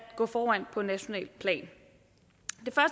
gå foran på nationalt plan